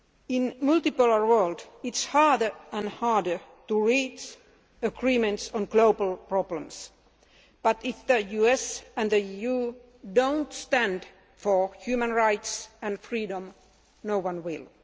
In a multipolar world it is harder and harder to reach agreements on global problems, but if the US and the EU do not stand for human rights and freedom, no one will.